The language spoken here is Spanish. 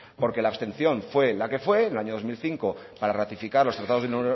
porque la abstención fue la que fue en el año dos mil cinco para ratificar los tratados de